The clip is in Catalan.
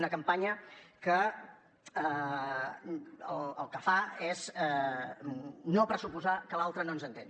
una campanya que el que fa és no pressuposar que l’altre no ens entén